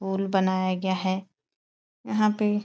पुल बनाया गया है। यहाँ पे --